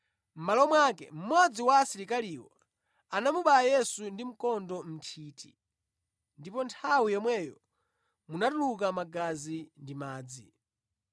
Mʼmalo mwake, mmodzi wa asilikaliwo anamubaya Yesu ndi mkondo mʼnthiti, ndipo nthawi yomweyo munatuluka magazi ndi madzi.